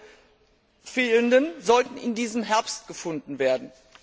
Euro fehlten, sollten in diesem Herbst gefunden werden.